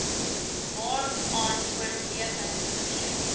waaraan oorweging gegee